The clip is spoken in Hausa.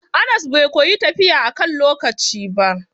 Anas bai koyi tafiya akan lokaci ba.